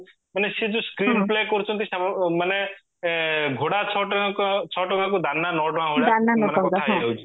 ମାନେ ସିଏ ଯୋଊ screen play କରୁଚନ୍ତି ସେ ମାନେ ଏ ଘୋଡା ଛ ଟଙ୍କା ଛଟଙ୍କାକୁ ଦାନା ନଅ ଟଙ୍କା ଭଳିଆ ମାନେ